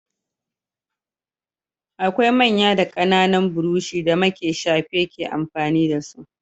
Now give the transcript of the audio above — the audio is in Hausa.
Akwai manya da ƙananan burushi da make shafe ke amfani da su.